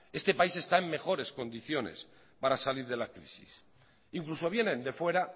este país está en mejores condiciones para salir de la crisis incluso vienen de fuera